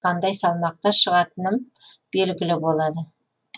қандай салмақта шығатыным белгілі болады